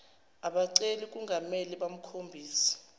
abaceli kungamele bakhombise